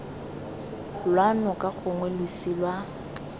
lwa noka gongwe losi lwa